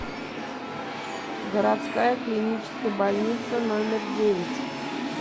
городская клиническая больница номер девять